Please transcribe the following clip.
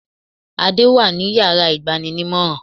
Adé wà ní yàrá ìgbaninímòràn